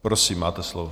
Prosím, máte slovo.